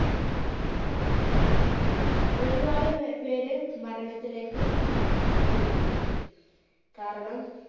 ഒരുപാട് പേര് മരണത്തിലേക്ക് പോയിരുന്നു കാരണം,